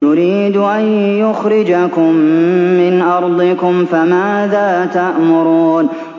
يُرِيدُ أَن يُخْرِجَكُم مِّنْ أَرْضِكُمْ ۖ فَمَاذَا تَأْمُرُونَ